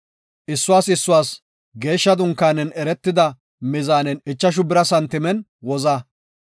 Issuwas issuwas geeshsha dunkaanen eretida mizaanen ichashu bira santimen woza.